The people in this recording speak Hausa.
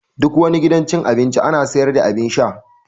Duk wani gidan cin abinci ana sayar da abun sha